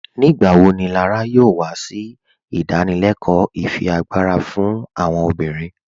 Nígbàwọ́ ní Lárà yóò wà sí ìdánìlẹ̀kọ́ ìfíágbarà fún àwọn obìnrin?